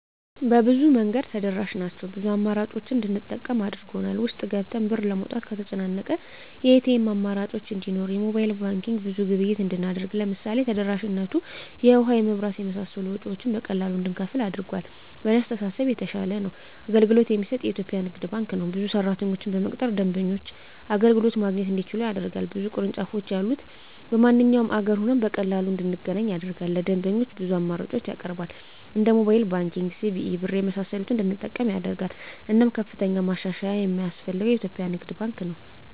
በብዙ መንገድ ተደራሽ ናቸው ብዙ አማራጮችን እንድንጠቀም አድርጎል። ውስጥ ገብተን ብር ለማውጣት ከተጨናነቀ የኤቲኤም አማራጮች እንዲኖር የሞባይል ባንኪንግ ብዙ ግብይት እንድናደርግ ለምሳሌ ተደራሽነቱ የውሀ, የመብራት የመሳሰሉ ወጭወችን በቀላሉ እንድንከፍል አድርጓል። በእኔ አስተሳሰብ የተሻለ አገልግሎት የሚሰጥ የኢትዪጵያ ንግድ ባንክ ነው። ብዙ ሰራተኞችን በመቅጠር ደንበኞች አገልግሎት ማግኘት እንዲችሉ ያደርጋል። ብዙ ቅርንጫፎች ያሉት በማንኛውም አገር ሆነን በቀላሉ እንድናገኝ ያደርጋል። ለደንበኞች ብዙ አማራጮችን ያቀርባል እንደ ሞባይል ባንኪንግ, ሲቢኢ ብር , የመሳሰሉትን እንድንጠቀም ያደርጋል። እናም ከፍተኛ ማሻሻያ የማስፈልገው የኢትዮጵያ ንግድ ባንክ ነው።